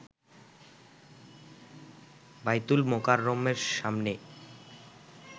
বায়তুল মোকাররমের সামনে